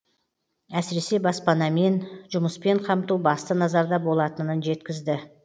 әсіресе баспанамен жұмыспен қамту басты назарда болатынын жеткізді